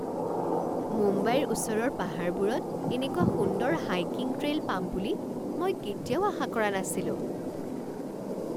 মুম্বাইৰ ওচৰৰ পাহাৰবোৰত এনেকুৱা সুন্দৰ হাইকিং ট্ৰেইল পাম বুলি মই কেতিয়াও আশা কৰা নাছিলোঁ।